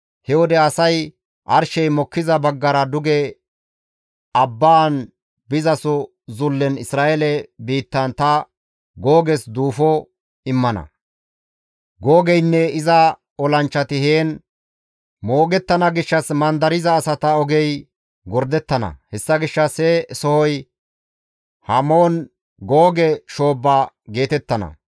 « ‹He wode asay arshey mokkiza baggara duge abbaan bizaso zullen Isra7eele biittan ta Googes duufo immana; Googeynne iza olanchchati heen moogettana gishshas mandariza asata ogey gordettana; hessa gishshas he sohoy Hamoon Googe shoobba geetettana.